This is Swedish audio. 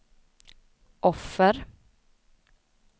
offer